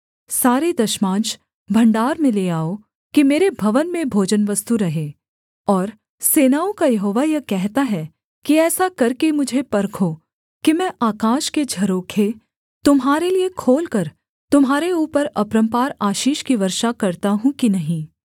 सारे दशमांश भण्डार में ले आओ कि मेरे भवन में भोजनवस्तु रहे और सेनाओं का यहोवा यह कहता है कि ऐसा करके मुझे परखो कि मैं आकाश के झरोखे तुम्हारे लिये खोलकर तुम्हारे ऊपर अपरम्पार आशीष की वर्षा करता हूँ कि नहीं